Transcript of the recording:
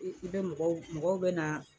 I i bɛ mɔgɔw mɔgɔw bɛ na